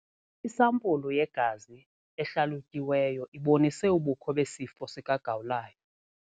Isampulu yegazi ehlalutyiweyo ibonise ubukho besifo sikagawulayo.